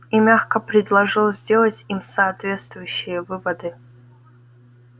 и мягко предложил сделать им соответствующие выводы